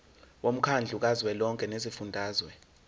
womkhandlu kazwelonke wezifundazwe